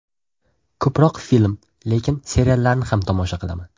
Ko‘proq film, lekin seriallarni ham tomosha qilaman.